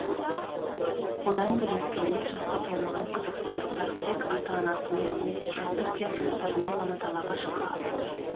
одан бөлек кәмелет жасқа толмаған қазақстандықтар тек ата анасымен немесе жасы үлкен туыстарымен ғана далаға шыға алады